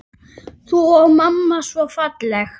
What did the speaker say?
Þú og mamma svo falleg.